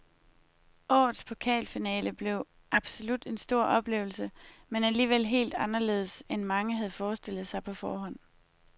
Årets pokalfinale blev absolut en stor oplevelse, men alligevel helt anderledes end mange havde forestillet sig på forhånd.